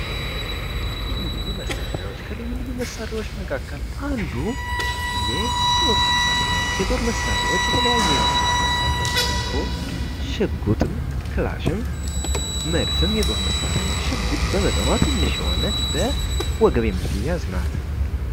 ልዩ ልዩ መሳሪያዎች ከልዩ ልዩ መሳሪያዎች መካከል አንዱ የጦር መሳሪያዎች የጦር መሳሪያዎች የተለያዩ አይነት የጦር መሳሪያዎች ሲኖሩ ሽጉጥም ክላሽም መድፍም የጦር መሳሪያ ሽጉጥ በመጠኗ ትንሽ የሆነች በወገብ የምትያዝ ናት።